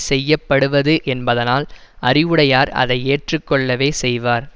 செய்ய படுவது என்பதனால் அறிவுடையார் அதை ஏற்று கொள்ளவே செய்வார்